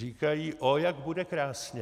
Říkají: Ó, jak bude krásně.